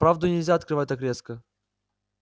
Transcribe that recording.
правду нельзя открывать так резко